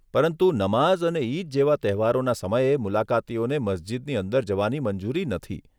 પરંતુ નમાઝ અને ઈદ જેવા તહેવારોના સમયે, મુલાકાતીઓને મસ્જિદની અંદર જવાની મંજૂરી નથી.